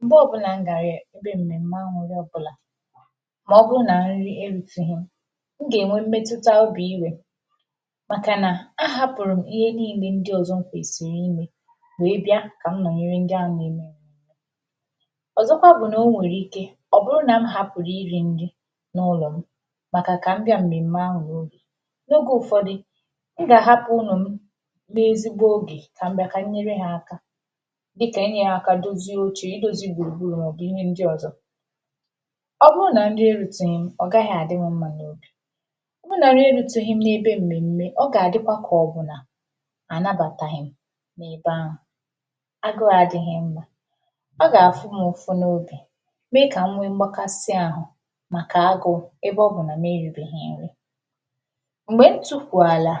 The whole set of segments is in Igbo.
M̄gbe ọ bụlàm ga-re nde mmeme ahụ wepulà maọ̀bụ̀rụ̀ na nri eruteghì mụ ga-enwe mmetutà obì iwè makà na ahapụrụ̀ m ihe niine ndị̀ ọzọ̀ m kwesiri imè wee bịà wee bịà ọzọkwà bụ̀ nà o nwere ike ọ bụrụ na m hapụrụ̀ iri nri n’ụlọ m makà ka m bịà mmeme ahụ n’oge n’oge ụfọdụ̀ mụ ga-ahapụ̀ ụmụ m n’ezigbo oge ka m bịà ka m nyere ha akà dịkà inyere akà dozie oche, idozi gburugburu nakwà ihe ndị ọzọ̀ ọ bụrụ na nri eruteghi m, ọ gaghị̀ adị m mma n’obì ọ bụrụ na nri eruteghi m na-ebe mmeme, ọ ga-adịkwà ka ọ bụ̀ nà anabataghị̀ m n’ebe ahụ̀ agụụ adịghị̀ mma ọ ga-afụ m ụfụ n’obì ḍkà inwe m̄gbakasịà ahụ makà agụ ebe ọ bụ na m eribeghi nrì m̄gbe m tukwu alà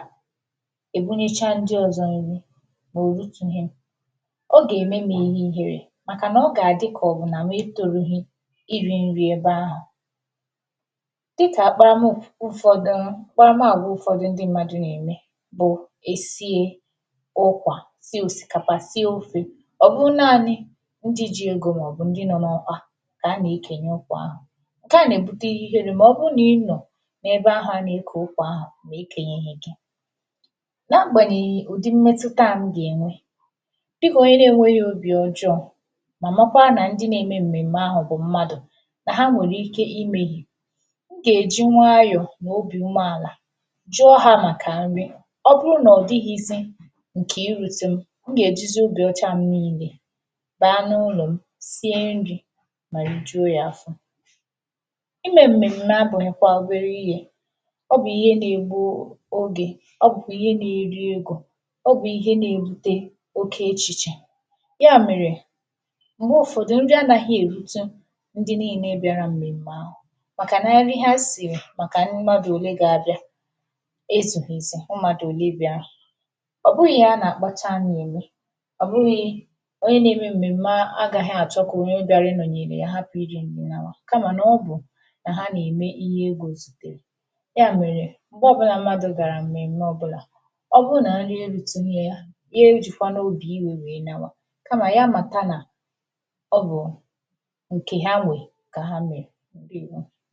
ebunichà ndị ọzọ̀ nrì ma oruteghì m ọ ga-eme ihe ihere makà na ọ ga-adị̀ ka ọ bụ̀ na m etoghì iri nrì ebe ahụ dịkà akpara m dị̀ ụfọdụ̀ akparamagwà ndị ụfọdụ̀ na-eme bụ e sie ụkwà tiē osikapà tiē ofè ọ bụlanị ndị ji egō maọ̀bụ̀ ndị̀ nọ̀ n’ọkwà ka a na-ekenye ụkwà ahụ̀ nke à na-ebute ihe ihere maọ̀bụ̀ na ịnọ n’ebe ahụ̀ a na-eke ụkwà ahụ ma ekenyehè gi na agbanyeghì ụdị mmetutà à m ga-enwe dịkà onye na-enweghì obì ọjọ̀ ma makwà na ndị na-eme mmeme ahụ bụ̀ mmadụ̀ ha nwere ike imehì i ga-eji nwayọ̀ na obì ume alà jụọ ha makà nrì ọ bụrụ na ọ dịghịzị̀ nke irutu m mụ ga-ejizi obì ọchà m niile baa n’ụlọ̀ m sie nrì ma rijuo ya afọ̀ ime mmeme abụnụkwà obere ihe ọ bụ ihe na-egbuu oge ọ bụkwà ihe na-eri egō ọ bụ̀ ihe na-erute oke echichè a mere m̄gbe ụfọdụ̀ nrì anaghị̀ erutù ndị niine bịarà mmeme ahụ makà nrì ha sii makà mmadụ̀ ole ga-abịà ezughi ezù mmadụ̀ olè bịarà ọ bụghị̀ ihe a na-akpachà anya eme ọ bụghị onye na-eme mmeme agaghì achọ ka onye bịarà ịnonyere ya hapụ̀ iri nrì lawaa kamà n’ọbụ̀ na ha na-eme ihe gụzọ̀ bụ̀ ya merē m̄gbe ọbụlà mmadụ̀ garà mmeme ọbụlà ọ bụrụ̀ na nrì eruteghì yà ya ejikwana obì iwe wee nawaà kamà ya matà nà ọ bụụ nke ha nwe ka ha mee. Ndewo!